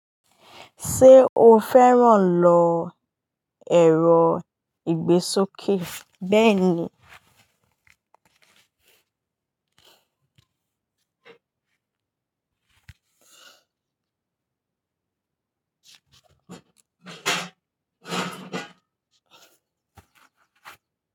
Ṣé o fẹ́ràn lọ ẹ̀rọ ìgbésókè? Bẹ́ẹ̀ni.